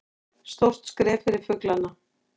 Stórt skref fyrir fuglana